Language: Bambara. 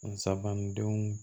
Nsaban ni denw